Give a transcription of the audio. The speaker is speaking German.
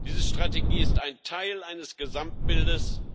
Diese Strategie ist ein Teil eines Gesamtbildes